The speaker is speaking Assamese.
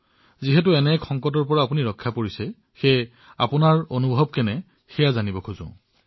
কওকচোন আপুনি এই সংকটৰ পৰা কিদৰে মুক্তি পালে আপোনাৰ অনুভৱ বিনিময় কৰক